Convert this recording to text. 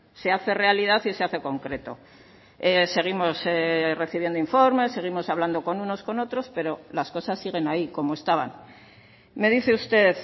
se hace realidad y se hace concreto seguimos recibiendo informes seguimos hablando con unos con otros pero las cosas siguen ahí como estaban me dice usted